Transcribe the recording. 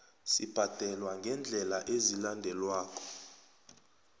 sibhadelwa ngeendlela ezilandelako